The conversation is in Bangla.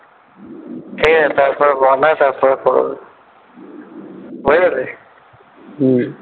ঠিক আছে তারপরে বানায় তারপরে হয়ে গেছে? হম